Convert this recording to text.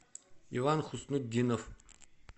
иван хуснутдинов